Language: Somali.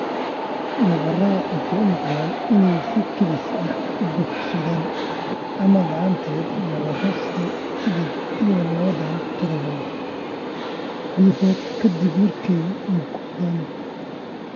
Nabarrada waxay u muuqdaan inay si kedis ah u bogsadaan ama la'aanteed nabarro sideed iyo lawatan toddobaad gudahooda ka dib markay muuqdaan.